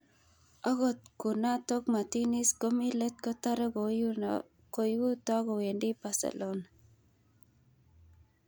(Sky Sports) Akot kunatok, Martinez komi let kotare koiuto kowendi Barcelona.